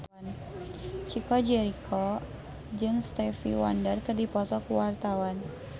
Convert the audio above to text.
Chico Jericho jeung Stevie Wonder keur dipoto ku wartawan